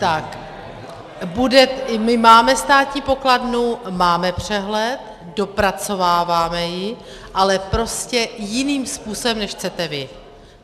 I my máme státní pokladnu, máme přehled, dopracováváme ji, ale prostě jiným způsobem, než chcete vy.